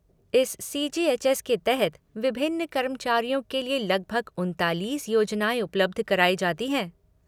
इस C G H S के तहत विभिन्न कर्मचारियों के लिए लगभग उनतालीस योजनाएँ उपलब्ध कराई जाती हैं।